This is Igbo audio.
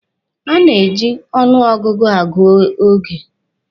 A na-eji ọnụ ọgụgụ agụ oge.